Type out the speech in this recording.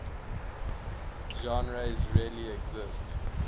genres really exist